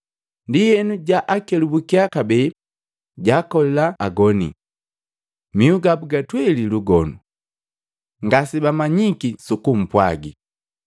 Ndienu jakelubukia kabee, jaakoli agoni. Mihu gabu gatweli lugonu. Ngasibamanyiki sukumpwagi.